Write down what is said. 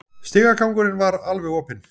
Stigagangurinn var alveg opinn